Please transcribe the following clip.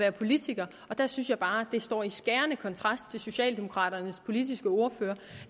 er politiker det synes jeg bare står i skærende kontrast til socialdemokraternes politiske ordfører